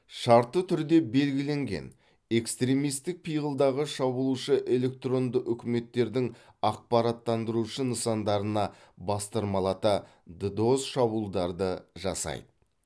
шартты түрде белгіленген экстремистік пиғылдағы шабуылшы электронды үкіметтердің ақпараттандырушы нысандарына бастырмалата ддос шабуылдарды жасайды